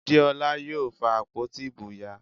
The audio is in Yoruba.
Deola yóò fa àpótí ìbò ya